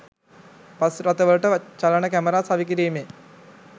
bus රථවලට චලන camera සවි කිරීමෙන්